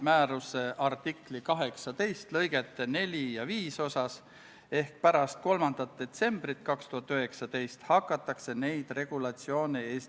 Oma k.a 21. oktoobri istungil otsustas riigikaitsekomisjon konsensuslikult, et eelnõu esitatakse teiseks lugemiseks Riigikogu täiskogu päevakorda k.a 6. novembriks.